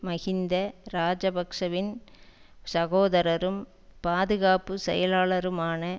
மஹிந்த இராஜபக்ஷவின் சகோதரரும் பாதுகாப்பு செயலாளருமான